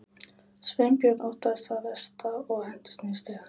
Sveinbjörn óttaðist það versta og hentist niður stigann.